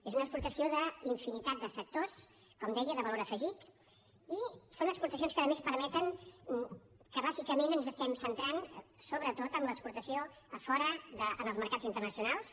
és una exportació d’infinitat de sectors com deia de valor afegit i són exportacions que a més permeten que bàsicament ens estiguem centrant sobretot en l’exportació a fora en els mercats internacionals